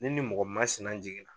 Ni nin mɔgɔ masina jigin